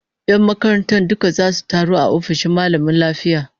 Yan makarantar duka zasu taru a ofishin mallamin lafiya